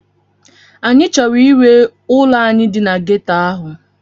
Anyị chọrọ ire ụlọ anyị dị na ghetto ahụ.